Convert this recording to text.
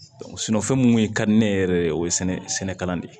fɛn mun kun ka di ne yɛrɛ ye o ye sɛnɛkɛla de ye